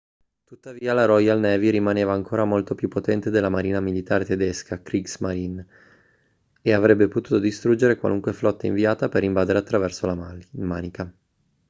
tuttavia la royal navy rimaneva ancora molto più potente della marina militare tedesca kriegsmarine e avrebbe potuto distruggere qualunque flotta inviata per invadere attraverso la manica